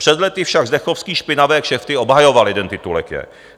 Před lety však Zdechovský špinavé kšefty obhajoval - jeden titulek je.